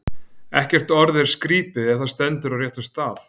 Ekkert orð er skrípi, ef það stendur á réttum stað.